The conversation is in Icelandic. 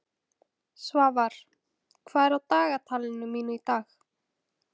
Svafar, hvað er á dagatalinu mínu í dag?